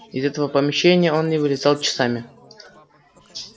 из этого помещения он не вылезал часами